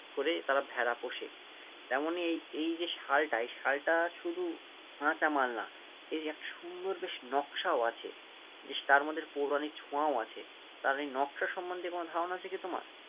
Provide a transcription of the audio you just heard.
করেই তারা ভেড়া পোষে, তেমনই এই এই যে শালটা এই শালটা শুধু কাঁচামাল না এর একটা সুন্দর বেশ নকশাও আছে, বেশ তারমধ্যে একটা পৌরাণিক ছোঁয়াও আছে, তার এই নকশা সম্মন্ধে কোনো ধারণা আছে কি তোমার?